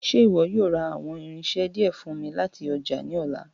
Ṣe iwọ yoo ra awọn irinṣẹ diẹ fun mi lati ọja ni ọla?